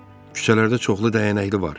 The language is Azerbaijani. Küçələrdə çoxlu dəyənəkli var.